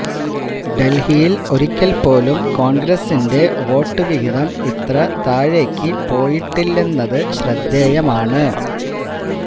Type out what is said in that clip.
ഡല്ഹിയില് ഒരിക്കല് പോലും കോണ്ഗ്രസിന്റെ വോട്ട് വഹിതം ഇത്ര താഴേക്ക് പോയിട്ടില്ലെന്നത് ശ്രദ്ധേയമാണ്